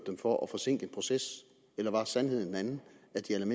for at forsinke en proces eller var sandheden en andet